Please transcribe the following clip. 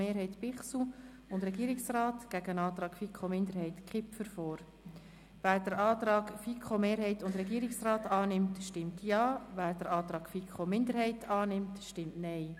Wer den Antrag von FiKoMehrheit und Regierungsrat annimmt, stimmt Ja, wer den Antrag der FiKo-Minderheit annimmt, stimmt Nein.